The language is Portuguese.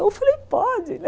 Eu falei, pode, né?